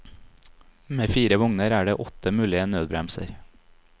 Med fire vogner er det åtte mulige nødbremser.